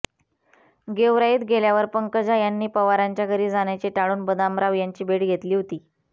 गेवराईत गेल्यावर पंकजा यांनी पवारांच्या घरी जाण्याचे टाळून बदामराव यांची भेट घेतली होती